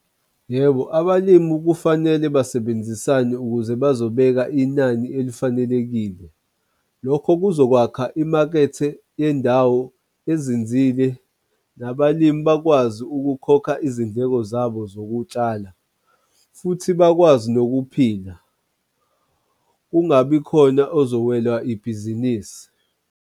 Yebo, abalimi kufanele basebenzisane ukuze bazobeka inani elifanelekile lokho kuzokwakha imakethe yendawo ezinzile, nabalimi bakwazi ukukhokha izindleko zabo zokutshala futhi bakwazi nokuphila, kungabi khona ozowelwa ibhizinisi.